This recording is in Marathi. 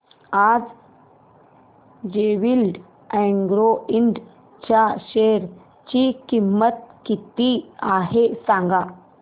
आज जेवीएल अॅग्रो इंड च्या शेअर ची किंमत किती आहे सांगा